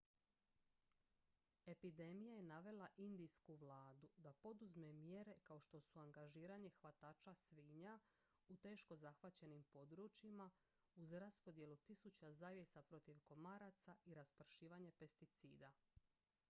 epidemija je navela indijsku vladu da poduzme mjere kao što su angažiranje hvatača svinja u teško zahvaćenim područjima uz raspodjelu tisuća zavjesa protiv komaraca i raspršivanje pesticida